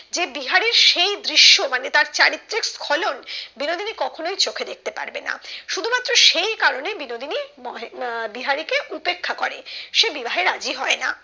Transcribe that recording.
যে বিহারীর সেই দৃশ্য মানে তার চারিত্রিক খলন বিনোদিনী কখনোই চোখে দেখতে পারবে না শুধু মাত্র সেই কারণে বিনোদিনী মহে আহ বিহারি কে উপেক্ষা করে সে বিবাহে রাজি হয় না